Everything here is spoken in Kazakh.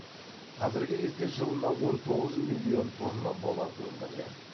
қазіргі кезде жылына он тоғыз миллион тонна болат өндіріледі